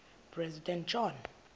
president john